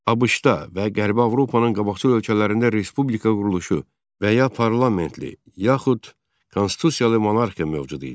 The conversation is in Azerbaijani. ABŞ-da və Qərbi Avropanın qabaqcıl ölkələrində respublika quruluşu və ya parlamentli, yaxud konstitusiyalı monarxiya mövcud idi.